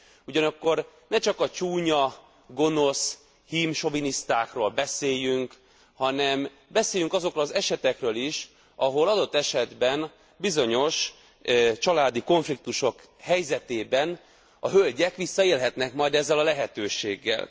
Ugyanakkor ne csak a csúnya, gonosz, hímsovinisztákról beszéljünk, hanem beszéljünk azokról az esetekről is, ahol adott esetben bizonyos családi konfliktusok helyzetében a hölgyek visszaélhetnek majd ezzel a lehetőséggel.